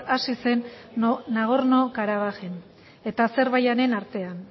hasi zen nagorno karabajen eta azerbaijanen artean